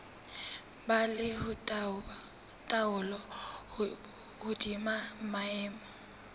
ba le taolo hodima maemo